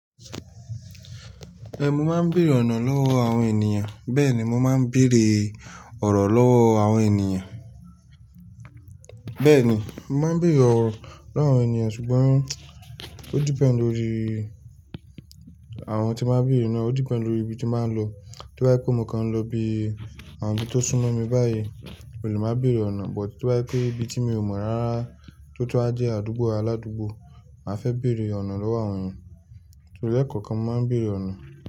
Ẹn, mo máa ń bèèrè ọ̀nà lọ́wọ́ àwọn ènìyàn. Bẹ́ẹ̀ ni, mo máa ń bèèrè ọ̀rọ̀ lọ́wọ́ àwọn ènìyàn. Bẹ́ẹ̀ ni, mo máa ń bèèrè ọ̀rọ̀ lọ́wọ́ àwọn ènìyàn ṣùgbọ́n ó depend lórí àwọn tí máa bèèrè náà, ó depend lórí ibi tí baa ń lọ. Tí ba je pé mo kan lọ ibi àwọn tó súnmọ́ mi báyìí, mo lè máa bèèrè ọ̀nà, but to ba je pé ibi tí mi ò mọ̀ rárá tó tunwa jẹ́ àdúgbò aládùúgbò, màá fẹ́ bèèrè ọ̀nà lọ́wọ́ àwọn ènìyàn. Torí ẹ́ẹ̀kọ̀kan mo máa ń bèèrè ọ̀nà.